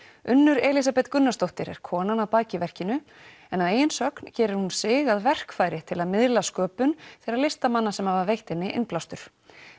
Unnur Elísabet Gunnarsdóttir er konan að baki verkinu en að eigin sögn gerir hún sig að verkfæri til að miðla sköpun þeirra listamanna sem hafa veitt henni innblástur